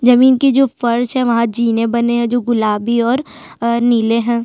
जमीन की जो फर्श है वहां जीने बनी है जो गुलाबी और नीले है।